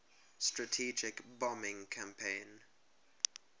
strategic bombing campaign